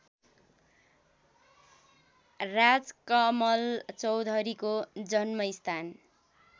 राजकमल चौधरीको जन्मस्थान